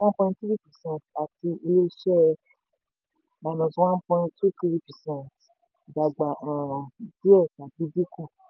one point three percent àti ilé-iṣẹ́ minus one point three percent dàgbà um díẹ̀ tàbí dínkù